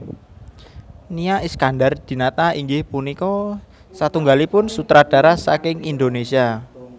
Nia Iskandar Dinata inggih punika satunggalipun sutradara saking Indonesia